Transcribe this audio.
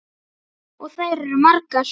Og þær eru margar.